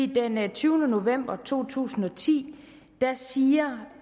den enogtyvende november to tusind og ti siger